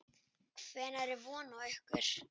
Hvenær er von á ykkur?